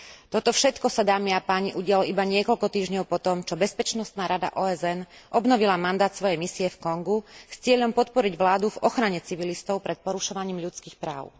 Toto všetko sa, dámy a páni, udialo iba niekoľko týždňov po tom, čo Bezpečnostná rada OSN obnovila mandát svojej misie v Kongu s cieľom podporiť vládu v ochrane civilistov pred porušovaním ľudských práv.